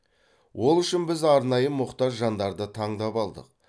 ол үшін біз арнайы мұқтаж жандарды таңдап алдық